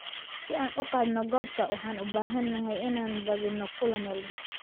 Si aan u qaadno koobka, waxaan u baahanahay inaan badino kulan walba.